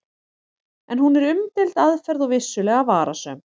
En hún er umdeild aðferð og vissulega varasöm.